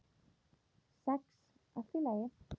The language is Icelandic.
Sex allt í lagi.